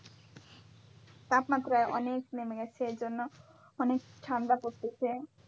তাপমাত্রায় অনেক নেমে গেছে এজন্য অনেক ঠান্ডা পরতিছে।